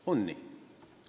Ongi nii.